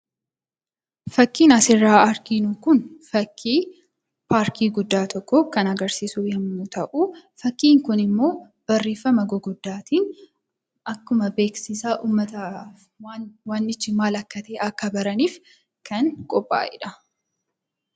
Fakkiin asirratti arginu kun fakkii parking guddaa tokkoo kan agarsiisu yommuu ta'u, fakkiin kunimmoo barreeffama gurguddaatiin akkuma beeksisaa ummanni wantichi maal akka ta’e akka baraniif kan qophaa'e dha.